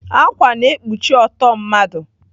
Ákwà na-ekpuchi ọtọ mmadụ.